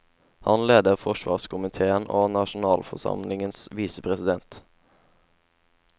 Han leder forsvarskomitéen og er nasjonalforsamlingens visepresident.